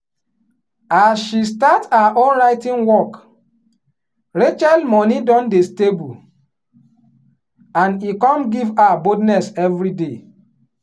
as she start her own writing workrachel money don dey stable and e come give her boldness everyday.